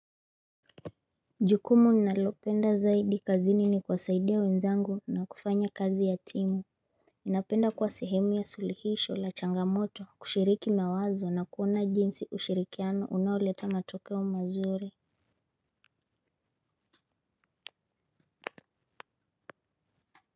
Jukumu ninalopenda zaidi kazini nikuwasaidia wenzangu na kufanya kazi ya timu. Ninapenda kuwa sehemu ya suluhisho la changamoto kushiriki mawazo na kuona jinsi ushirikiano unaoleta matokeo mazuri.